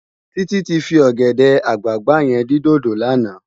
Titi ti fi ògèdè àgbágbá yèn din dódó làná